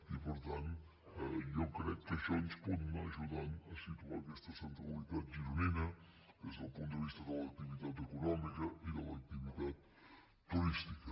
i per tant jo crec que això ens pot anar ajudant a situar aquesta centralitat gironina des del punt de vista de l’activitat econòmica i de l’activitat turística